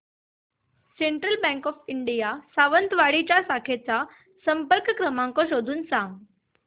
central bank of India Sawantwadi च्या शाखेचा संपर्क क्रमांक शोधून सांग